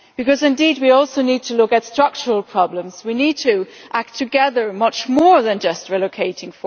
Because we do indeed also need to look at structural problems, we need to act together on much more than just relocating